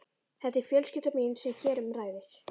Þetta er fjölskyldan mín sem hér um ræðir.